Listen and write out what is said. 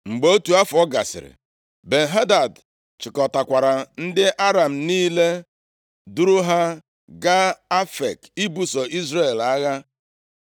Mgbe otu afọ gasịrị, Ben-Hadad chịkọtakwara ndị Aram niile duru ha gaa Afek ibuso Izrel agha.